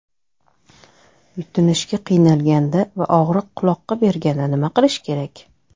Yutinishga qiynalganda va og‘riq quloqqa berganda nima qilish kerak?.